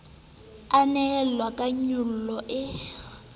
e nwelella ka nyollo e